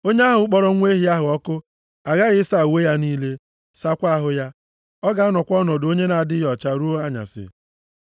Onye ahụ kpọrọ nwa ehi ahụ ọkụ aghaghị ịsa uwe ya niile, sakwaa ahụ ya. Ọ ga-anọkwa ọnọdụ onye na-adịghị ọcha ruo anyasị.